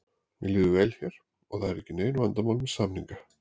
Mér líður vel hér og það eru ekki nein vandamál með samninga.